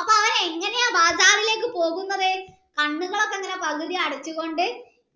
അപ്പൊ അവൻ എങ്ങനെയാ ബാഗാറിലേക് പോകുന്നത് കണ്ണുകളൊക്കെ ഇങ്ങനെ പകുതി അടച്ചു കൊണ്ട്